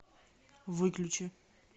выключи